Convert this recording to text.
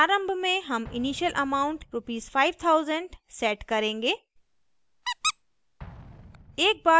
प्रारंभ में हम initial amount rs 5000 set करेंगे